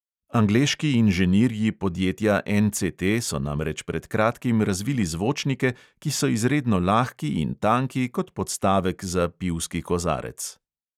Angleški inženirji podjetja NCT so namreč pred kratkim razvili zvočnike, ki so izredno lahki in tanki kot podstavek za pivski kozarec.